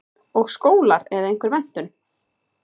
Og skólar eða einhver menntun?